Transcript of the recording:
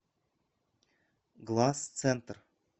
глазцентр